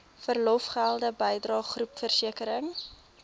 verlofgelde bydrae groepversekering